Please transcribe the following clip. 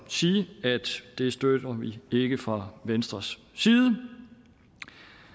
sige at det støtter vi ikke fra venstres side